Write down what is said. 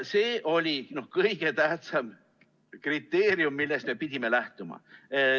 See oli kõige tähtsam kriteerium, millest me pidime lähtuma.